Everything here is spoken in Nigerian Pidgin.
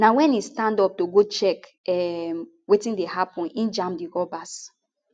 na wen e stand up to go check um wetin dey happun e jam di robbers